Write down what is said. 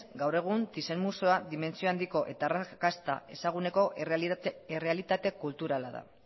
gaur egun thyssen museoa dimentsio handiko eta arrakasta ezaguneko errealitate kulturala da